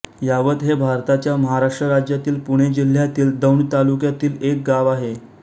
यावत हे भारताच्या महाराष्ट्र राज्यातील पुणे जिल्ह्यातील दौंड तालुक्यातील एक गाव आहे